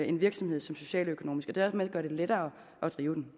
en virksomhed som socialøkonomisk og dermed gør det lettere at drive den